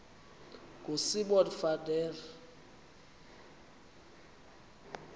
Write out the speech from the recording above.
ngosimon van der